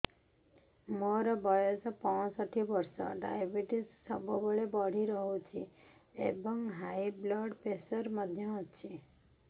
ମୋର ବୟସ ପଞ୍ଚଷଠି ବର୍ଷ ଡାଏବେଟିସ ସବୁବେଳେ ବଢି ରହୁଛି ଏବଂ ହାଇ ବ୍ଲଡ଼ ପ୍ରେସର ମଧ୍ୟ ଅଛି